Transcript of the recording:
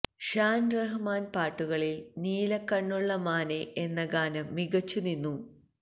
ഷാൻ റഹ്മാന്റെ പാട്ടുകളിൽ നീല കണ്ണുള്ള മാനെ എന്ന ഗാനം മികച്ചു നിന്നു